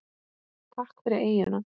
Takk fyrir eyjuna.